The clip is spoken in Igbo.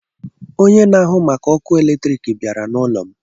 onye na ahụ màkà ọkụ eletrik bịara na ụlọ'm.